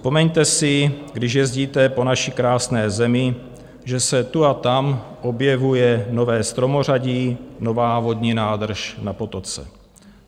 Vzpomeňte si, když jezdíte po naší krásné zemi, že se tu a tam objevuje nové stromořadí, nová vodní nádrž na potoce.